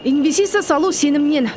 инвестиция салу сенімнен